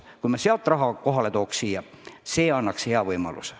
Kui me sealt raha kohale tooks, siis see annaks hea võimaluse.